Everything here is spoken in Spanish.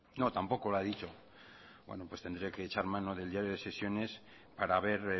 no tampoco lo ha dicho bueno pues tendré que echar mano del diario de sesiones para ver